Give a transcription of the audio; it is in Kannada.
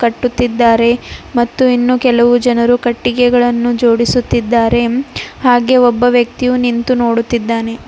ಕಟ್ಟುತ್ತಿದ್ದಾರೆ ಮತ್ತು ಇನ್ನು ಕೆಲವು ಜನರು ಕಟ್ಟಿಗೆಗಳನ್ನು ಜೋಡಿಸುತ್ತಿದ್ದಾರೆ ಹಾಗೆ ಒಬ್ಬ ವ್ಯಕ್ತಿಯು ನಿಂತು ನೋಡುತ್ತಿದ್ದಾನೆ.